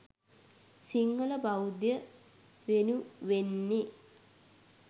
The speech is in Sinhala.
සිංහල බෞද්ධය වෙනුවෙන්නෙ.